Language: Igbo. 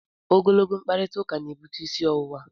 Ogologo mkparịtaụka na-ebute isi ọwụwa.